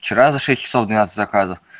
вчера за шесть часов двенадцать заказов